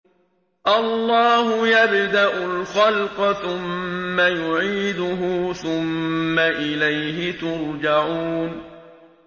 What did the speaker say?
اللَّهُ يَبْدَأُ الْخَلْقَ ثُمَّ يُعِيدُهُ ثُمَّ إِلَيْهِ تُرْجَعُونَ